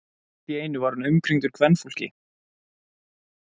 Allt í einu var hann umkringdur kvenfólki.